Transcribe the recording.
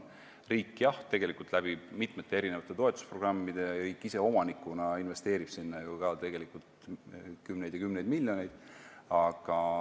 Riik, jah, tegelikult mitme toetusprogrammiga ise omanikuna investeerib sinna ju ka kümneid ja kümneid miljoneid.